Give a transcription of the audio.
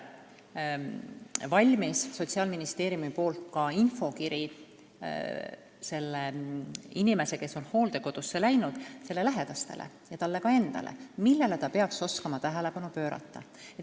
Sotsiaalministeeriumil on valminud ka infokiri hooldekodusse läinud inimesele endale ja tema lähedastele selle kohta, millele peaks oskama tähelepanu pöörata.